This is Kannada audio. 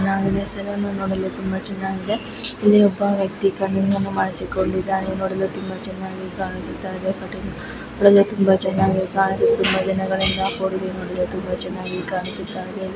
ನನ್ ಈ ಸಲೋನ್ ಅನ್ನು ನೋಡಲು ತುಂಬಾ ಚನ್ನಾಗಿದೆ ಇಲ್ಲಿ ಒಬ್ಬ ವ್ಯಕ್ತಿ ಕಟ್ಟಿಂಗುನ್ನು ಮಾಡಿಸಿಕೊಂಡಿದ್ದಾನೆ ನೋಡಲು ತುಂಬಾ ಚನ್ನಾಗಿ ಕಾಣಿಸುತ್ತಾಯ್ದೆಕಟಿಂಗ್ ನೋಡಲು ತುಂಬಾ ಚನ್ನಾಗಿ ಕಾಣಿಸು ತುಂಬಾ ದಿನಗಳಿಂದ ಕೂದಲು ನೋಡಲು ತುಂಬಾ ಚನ್ನಾಗಿ ಕಾಣಿಸುತ್ತಾಯ್ದೆ. .